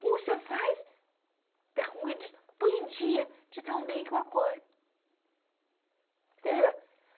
Como você faz para um dia de tão bem que eu acordo?